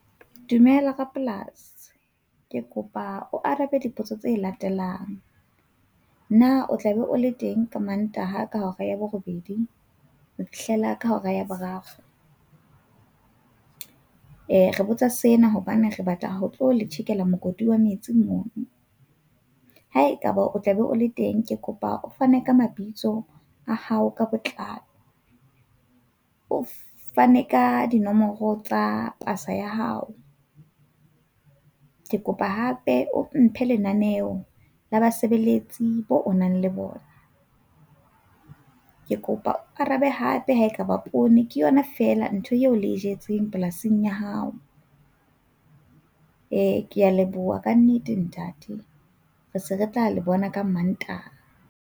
Dumela rapolasi. Ke kopa o arabe dipotso tse latelang. Na o tla be o le teng ka Mantaha ka hora ya borobedi ho fihlela ka hora ya boraro? Eh re botsa sena hobane re batla ho tlo le tjhekela mokoti wa metsi mo, haekaba o tlabe o le teng ke kopa o fane ka mabitso a hao ka botlalo. O fane ka dinomoro tsa pasa ya hao. Ke kopa hape o mphe lenaneo la basebeletsi boo o nang le bona. Ke kopa o arabe hape ha ekaba poone ke yona fela ntho eo le e jetseng polasing ya hao. Eh, ke a leboha kannete, ntate. Re se re tla le bona ka Mantaha.